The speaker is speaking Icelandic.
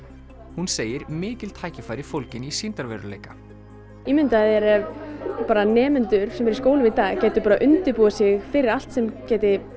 hún segir mikil tækifæri fólgin í sýndarveruleika ímyndaðu þér að nemendur sem eru í skólum í dag gætu undirbúið sig fyrir allt sem gæti